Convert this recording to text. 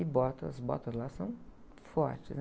E bota, as botas lá são fortes, né?